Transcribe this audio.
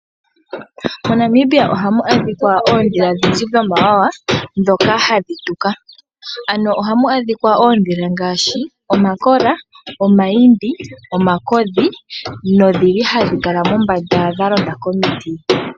MoNamibia ohamu adhika oodhila odhindji dhomawawa dhoka hadhi tuka, ano ohamu adhika oodhila ngashi omakola, omayimbi, omakodhi na odhili hadhi kala mombanda, dha londa komiti.